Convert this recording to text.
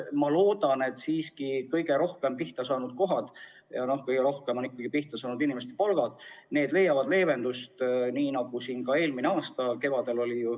Ma loodan, et kõige rohkem pihta saanud kohad – ja kõige rohkem on pihta saanud ikkagi inimeste palgad – leiavad leevendust, nagu oli ka eelmise aasta kevadel.